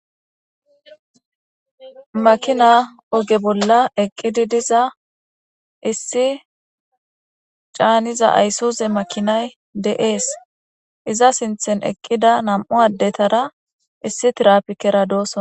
Makina oge bolla eqqidi diza issi caaniza ayssUze makinay de7ees iza sinthen eqqida nam'u addetara issi tirapikera doosona.